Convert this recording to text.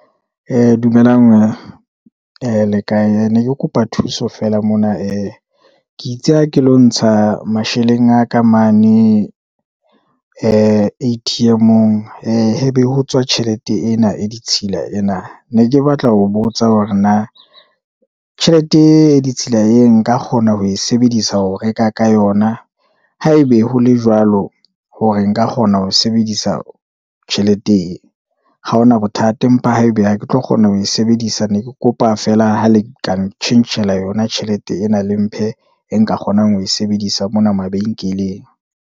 Dumelang le kae, ne ke kopa thuso feela mona ke itse ha ke lo ntsha masheleng a ka mane, A_T_M-ong, hebe ho tswa tjhelete ena e ditshila ena, ne ke batla ho botsa hore na tjhelete e ditshila e nka kgona ho e sebedisa ho reka ka yona haebe ho le jwalo, hore nka kgona ho sebedisa tjhelete e, ha ho na bothata. Mpha haebe ha ke tlo kgona ho e sebedisa ne ke kopa feela ha le ka tjhentjhela yona tjhelete ena le mphe e nka kgonang ho e sebedisa mona mabenkeleng.